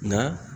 Nka